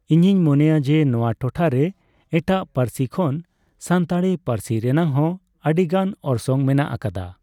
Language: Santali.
ᱤᱧᱤᱧ ᱢᱚᱱᱮᱭᱟ ᱡᱮ ᱱᱚᱣᱟ ᱴᱚᱴᱷᱟᱨᱮ ᱮᱴᱟᱜ ᱯᱟᱹᱨᱥᱤ ᱠᱷᱚᱱ ᱥᱟᱱᱛᱟᱞᱲᱤ ᱯᱟᱹᱨᱥᱤ ᱨᱮᱱᱟᱜ ᱦᱚᱸ ᱟᱹᱰᱤ ᱜᱟᱱ ᱚᱨᱥᱚᱝ ᱢᱮᱱᱟᱜ ᱟᱠᱟᱫᱟ ᱾